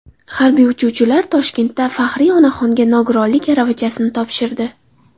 Harbiy uchuvchilar Toshkentda faxriy onaxonga nogironlik aravachasini topshirdi.